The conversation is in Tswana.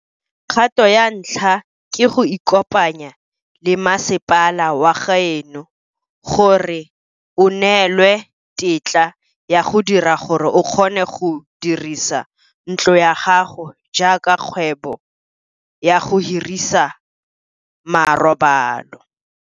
Kgato ya ntlha ke go ikopanya le masepala wa gaeno gore o neelwe tetla ya go dira gore o kgone go dirisa ntlo ya gago jaaka kgwebo ya go hirisa marobalo.